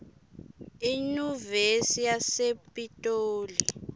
iyunivesi yasepitoli